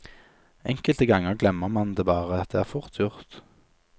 Enkelte ganger glemmer man det bare, det er fort gjort.